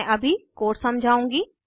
मैं अभी कोड समझाऊंगी